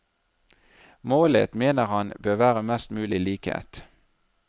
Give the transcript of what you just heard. Målet, mener han, bør være mest mulig likhet.